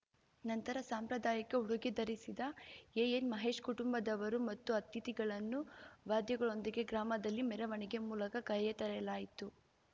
ನಂತರ ಸಾಂಪ್ರದಾಯಕ ಉಡುಗೆ ಧರಿಸಿದ ಎಎನ್‌ಮಹೇಶ್‌ ಕುಟುಂಬದವರು ಮತ್ತು ಅತಿಥಿಗಳನ್ನು ವಾದ್ಯಗಳೊಂದಿಗೆ ಗ್ರಾಮದಲ್ಲಿ ಮೆರವಣಿಗೆ ಮೂಲಕ ಕೈಯ್ಯಾತರಲಾಯಿತು